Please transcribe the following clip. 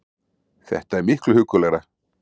Þetta er miklu huggulegra